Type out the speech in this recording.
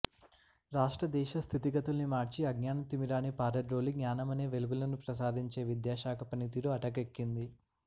రాష్ట్ర దేశ స్థితిగతుల్ని మార్చి అజ్ఞాన తిమిరాన్ని పారద్రోలి జ్ఞానమనే వెలుగులను ప్రసాదించే విద్యాశాఖ పనితీరు అటకెక్కింది